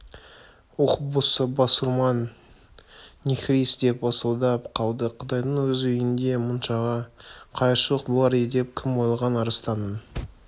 ух басурман нехрист деп ысылдап қалды құдайдың өз үйінде мұншама қайыршылық болар деп кім ойлаған арыстанның